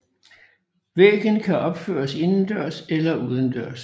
Væggen kan opføres indendørs eller udendørs